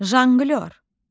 Janqlyor.